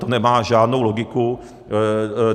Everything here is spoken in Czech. To nemá žádnou logiku.